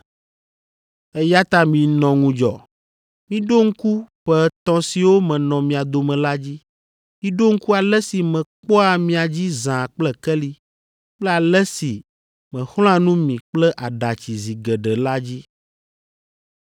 Eya ta minɔ ŋudzɔ! Miɖo ŋku ƒe etɔ̃ siwo menɔ mia dome la dzi. Miɖo ŋku ale si mekpɔa mia dzi zã kple keli kple ale si mexlɔ̃a nu mi kple aɖatsi zi geɖe la dzi.